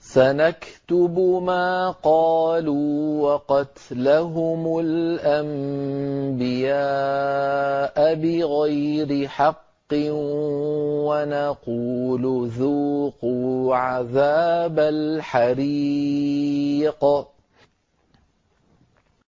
سَنَكْتُبُ مَا قَالُوا وَقَتْلَهُمُ الْأَنبِيَاءَ بِغَيْرِ حَقٍّ وَنَقُولُ ذُوقُوا عَذَابَ الْحَرِيقِ